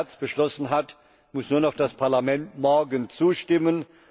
11. März beschlossen hat, muss nur noch das Parlament morgen zustimmen.